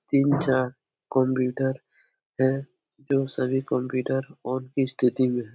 तीन चार कोम्ब्यूटर हैं जो सभी कोम्पीटर ऑन की स्थिति में हैं।